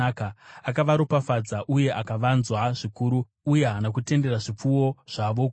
akavaropafadza, uye akavawanza zvikuru, uye haana kutendera zvipfuwo zvavo kuparara.